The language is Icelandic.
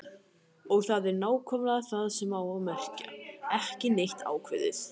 Og það er nákvæmlega það sem það á að merkja: ekki neitt ákveðið.